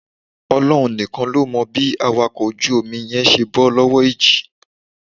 Ọlọ́run nìkan ló mọ̀ bí awakọ̀ ojú omi yẹn ṣe bọ́ lọ́wọ́ ìjì